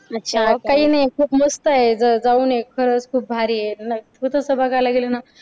मग काय नाही खूप मस्त आहे. जाऊन ये खरच खूप भारी आहे. तसं बघायला गेलं ना.